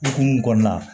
Hukumu kɔnɔna la